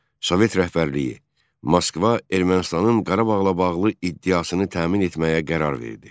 Sovet rəhbərliyi Moskva Ermənistanın Qarabağla bağlı iddiasını təmin etməyə qərar verdi.